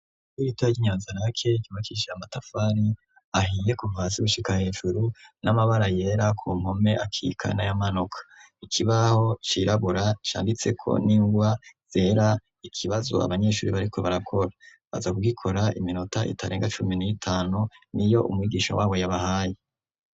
Igitaya ky'inyanzanaake kibakishaya amatafari ahiye kuhasi gushika hejuru n'amabara yera ku mpome akika nayamanoka ikibaho cirabura canditseko n'ingwa zera ikibazo abanyeshuri bariko barakora aza kugikora iminota itarenga cumi n'itanu n'iyo umwigisha wabo yabahaye.